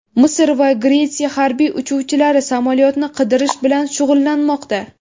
Misr va Gretsiya harbiy uchuvchilari samolyotni qidirish bilan shug‘ullanmoqda.